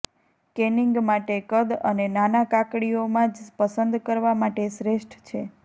canning માટે કદ અને નાના કાકડીઓ માં જ પસંદ કરવા માટે શ્રેષ્ઠ છે